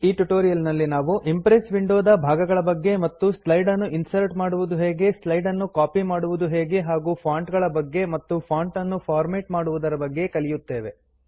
ಈ ಟ್ಯುಟೋರಿಯಲ್ ನಲ್ಲಿ ನಾವು ಇಂಪ್ರೆಸ್ ವಿಂಡೋ ದ ಭಾಗಗಳ ಬಗ್ಗೆ ಮತ್ತು ಸ್ಲೈಡ್ ನ್ನು ಇನ್ಸರ್ಟ್ ಮಾಡುವುದು ಹೇಗೆ ಸ್ಲೈಡ್ ನ್ನು ಕಾಪಿ ಮಾಡುವುದು ಹೇಗೆ ಹಾಗೂ ಫಾಂಟ್ ಗಳ ಬಗ್ಗೆ ಮತ್ತು ಫಾಂಟ್ ನ್ನು ಫಾರ್ಮ್ಯಾಟ್ ಮಾಡುವುದರ ಬಗ್ಗೆ ಕಲಿಯುತ್ತೇವೆ